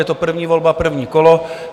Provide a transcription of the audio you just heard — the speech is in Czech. Je to první volba, první kolo.